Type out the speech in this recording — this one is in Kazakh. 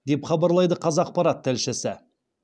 деп хабарлайды қазақпарат тілшісі